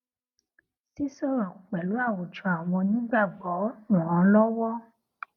sísòrò pèlú àwùjọ àwọn onígbàgbó ràn án lówó